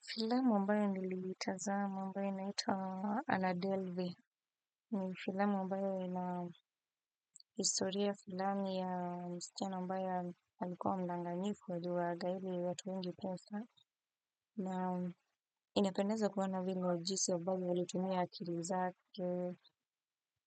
Filamu ambayo niliitazama ambae inaitwa Anadelvy ni filamu ambyo ina historia fulani ya msichana ambaye alikuwa mdanganyifu aliwagaili watu wengi pesa na inapendeza kuona vile au jinsi ambavyo alitumia akili zake